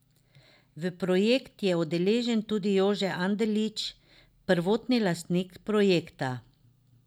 V projekt je udeležen tudi Jože Anderlič, prvotni lastnik projekta.